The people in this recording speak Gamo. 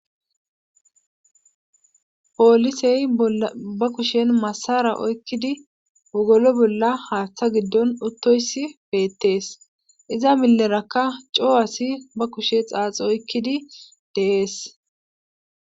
poolisey ba kushen masara oykkidi wogolo bolla haaththa giddon uttoyssi beettees iza millerakka coo asi ba kushe xaaxi oykkidi de7es